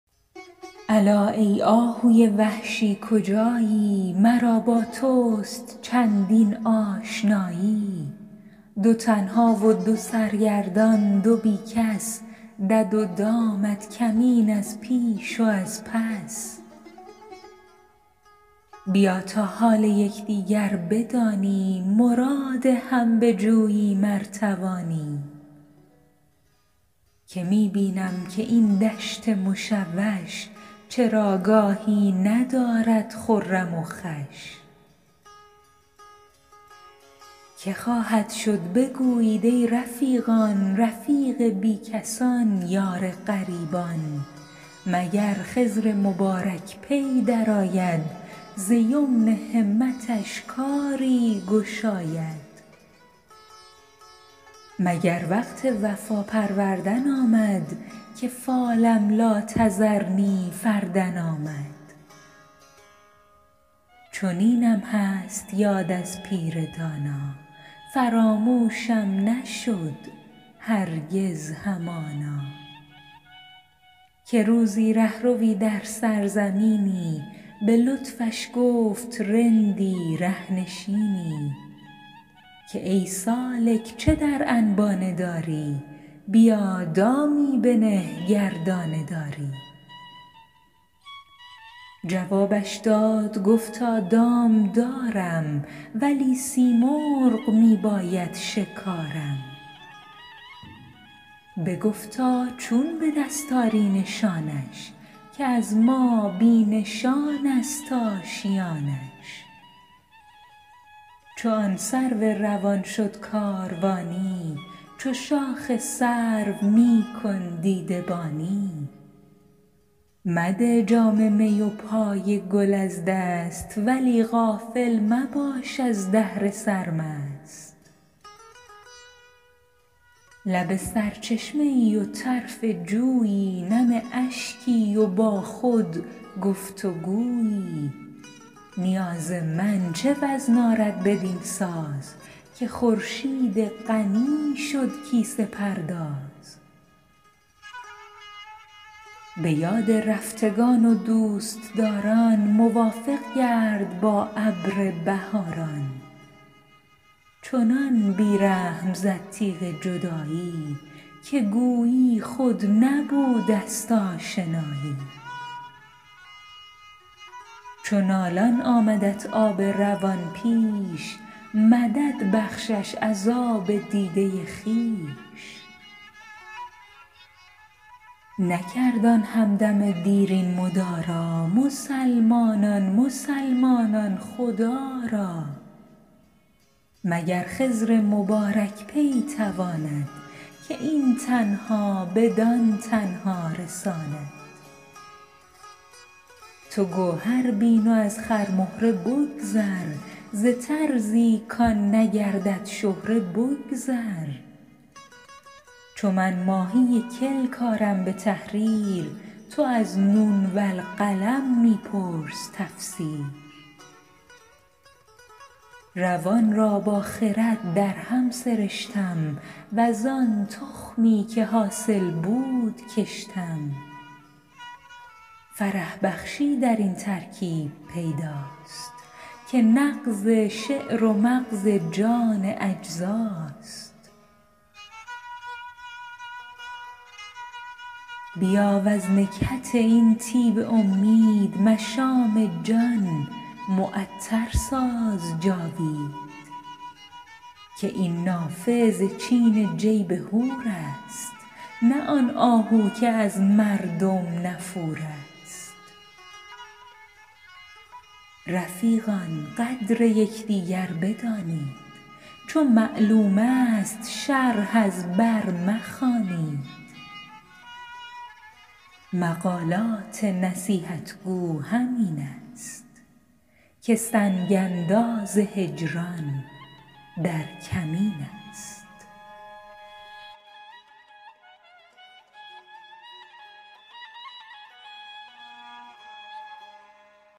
الا ای آهوی وحشی کجایی مرا با توست چندین آشنایی دو تنها و دو سرگردان دو بی کس دد و دامت کمین از پیش و از پس بیا تا حال یک دیگر بدانیم مراد هم بجوییم ار توانیم که می بینم که این دشت مشوش چراگاهی ندارد خرم و خوش که خواهد شد بگویید ای رفیقان رفیق بی کسان یار غریبان مگر خضر مبارک پی درآید ز یمن همتش کاری گشاید مگر وقت وفا پروردن آمد که فالم لا تذرنی فردا آمد چنینم هست یاد از پیر دانا فراموشم نشد هرگز همانا که روزی ره روی در سرزمینی به لطفش گفت رندی ره نشینی که ای سالک چه در انبانه داری بیا دامی بنه گر دانه داری جوابش داد گفتا دام دارم ولی سیمرغ می باید شکارم بگفتا چون به دست آری نشانش که از ما بی نشان است آشیانش چو آن سرو روان شد کاروانی چو شاخ سرو می کن دیده بانی مده جام می و پای گل از دست ولی غافل مباش از دهر سرمست لب سرچشمه ای و طرف جویی نم اشکی و با خود گفت و گویی نیاز من چه وزن آرد بدین ساز که خورشید غنی شد کیسه پرداز به یاد رفتگان و دوست داران موافق گرد با ابر بهاران چنان بی رحم زد تیغ جدایی که گویی خود نبوده است آشنایی چو نالان آمدت آب روان پیش مدد بخشش از آب دیده خویش نکرد آن هم دم دیرین مدارا مسلمانان مسلمانان خدا را مگر خضر مبارک پی تواند که این تنها بدان تنها رساند تو گوهر بین و از خرمهره بگذر ز طرزی کآن نگردد شهره بگذر چو من ماهی کلک آرم به تحریر تو از نون والقلم می پرس تفسیر روان را با خرد درهم سرشتم وز آن تخمی که حاصل بود کشتم فرح بخشی درین ترکیب پیداست که نغز شعر و مغز جان اجزاست بیا وز نکهت این طیب امید مشام جان معطر ساز جاوید که این نافه ز چین جیب حور است نه آن آهو که از مردم نفور است رفیقان قدر یک دیگر بدانید چو معلوم است شرح از بر مخوانید مقالات نصیحت گو همین است که سنگ انداز هجران در کمین است